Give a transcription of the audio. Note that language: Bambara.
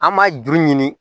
An ma juru ɲini